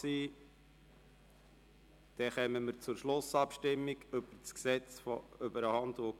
Somit kommen wir zur Schlussabstimmung über das HGG.